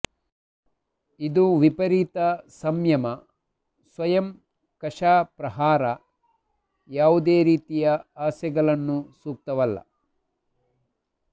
ಇದು ವಿಪರೀತ ಸಂಯಮ ಸ್ವಯಂ ಕಶಾಪ್ರಹಾರ ಯಾವುದೇ ರೀತಿಯ ಆಸೆಗಳನ್ನು ಸೂಕ್ತವಲ್ಲ